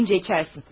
Gəlincə içərsən.